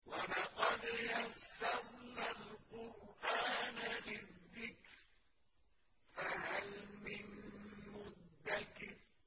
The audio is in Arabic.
وَلَقَدْ يَسَّرْنَا الْقُرْآنَ لِلذِّكْرِ فَهَلْ مِن مُّدَّكِرٍ